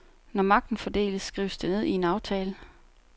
Når magten fordeles, skrives det ned i en aftale.